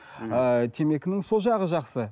ыыы темекінің сол жағы жақсы